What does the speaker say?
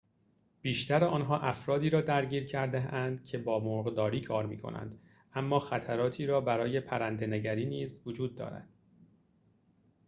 بیشتر آنها افرادی را درگیر کرده‌اند که با مرغداری کار می‌کنند اما خطراتی برای پرنده‌نگری نیز وجود دارد